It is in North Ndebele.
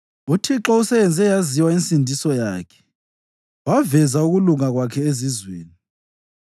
UThixo useyenze yaziwa insindiso yakhe waveza ukulunga kwakhe ezizweni.